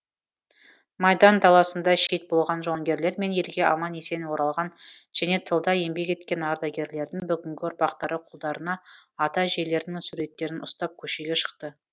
майдан даласында шейіт болған жауынгерлер мен елге аман есен оралған және тылда еңбек еткен ардагерлердің бүгінгі ұрпақтары қолдарына ата әжелерінің суреттерін ұстап көшеге шықты